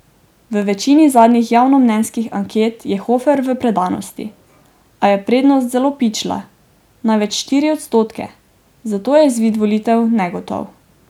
V večini zadnjih javnomnenjskih anket je Hofer v prednosti, a je prednost zelo pičla, največ štiri odstotke, zato je izid volitev negotov.